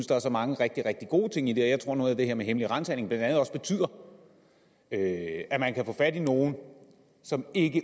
der er så mange rigtig rigtig gode ting i det her jeg tror at noget af det her med hemmelige ransagninger blandt andet også betyder at man kan få fat i nogle som ikke